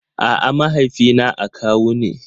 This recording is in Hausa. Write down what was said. A'a, mahaifina akawu ne.